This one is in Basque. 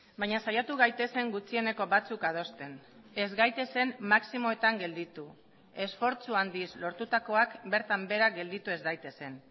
baina saiatu gaitezen gutxieneko batzuk adosten ez gaitezen maximoetan gelditu esfortzu handiz lortutakoak bertan behera gelditu ez daitezen